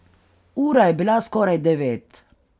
Ura je bila skoraj devet.